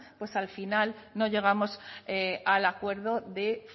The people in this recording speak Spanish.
pues al final no llegamos al acuerdo de